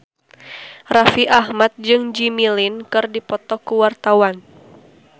Raffi Ahmad jeung Jimmy Lin keur dipoto ku wartawan